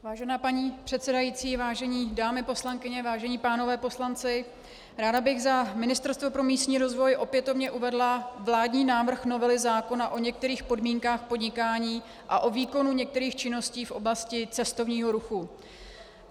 Vážená paní předsedající, vážené dámy poslankyně, vážení pánové poslanci, ráda bych za Ministerstvo pro místní rozvoj opětovně uvedla vládní návrh novely zákona o některých podmínkách podnikání a o výkonu některých činností v oblasti cestovního ruchu.